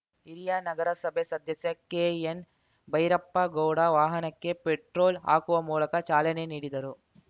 ಹಿರಿಯ ನಗರಸಭೆ ಸದಸ್ಯ ಕೆಎನ್‌ ಭೈರಪ್ಪಗೌಡ ವಾಹನಕ್ಕೆ ಪೆಟ್ರೋಲ್‌ ಹಾಕುವ ಮೂಲಕ ಚಾಲನೆ ನೀಡಿದರು